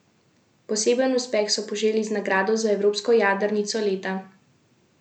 Poseben uspeh so poželi z nagrado za evropsko jadrnico leta.